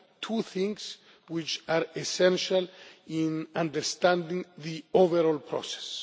two things which are essential in understanding the overall process.